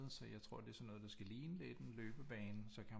Så jeg tror det er sådan noget der skal ligne lidt en løbebane så kan man